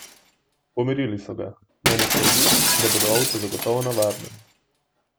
Pomirili so ga, naj ne skrbi in da bodo ovce zagotovo na varnem.